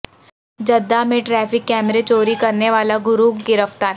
Jeddah میں traffic کیمرے چوری کرنے والا گروہ گرفتار